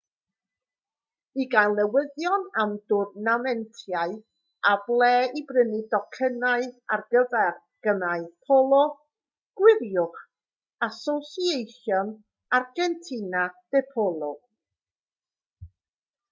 i gael newyddion am dwrnameintiau a ble i brynu tocynnau ar gyfer gemau polo gwiriwch asociacion argentina de polo